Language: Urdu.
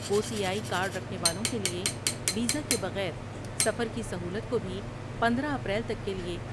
او سی آئی کارڈ رکھنے والوں کے لئے ویزہ کے بغیر سفر کی سہولت کو بھی پندرہ اپریل تک کے لئے ۔